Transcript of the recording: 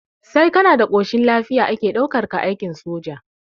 Sai kana da ƙoshin lafiya ake ɗaukar ka aikin soja